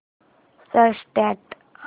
start